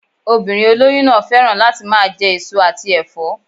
Obìnrin olóyún náà féràn láti máa je èso àti èfó